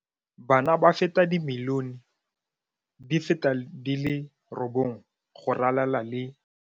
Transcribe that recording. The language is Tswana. Bana ba feta dimilione di feta di le robongwe go ralala le.